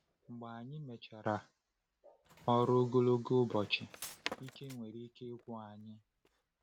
Mgbe anyị mechara ọrụ ogologo ụbọchị, ike nwere ike ịkwụ anyị.